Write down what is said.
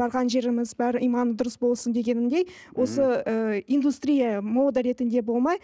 барған жеріміз бәрі иманды дұрыс болсын дегенімдей осы ы индустрия мода ретінде болмай